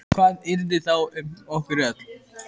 Hvað yrði þá um okkur öll?